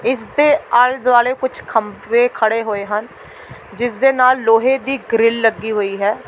ਇਸ ਦੇ ਆਲੇ-ਦੁਆਲੇ ਕੁੱਝ ਖੰਭੇ ਖੜ੍ਹੇ ਹੋਏ ਹਨ ਜਿਸ ਦੇ ਨਾਲ ਲੋਹੇ ਦੀ ਗਰਿਲ ਲੱਗੀ ਹੋਈ ਹੈ।